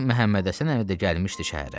Bu gün Məhəmmədhəsən əmi də gəlmişdi şəhərə.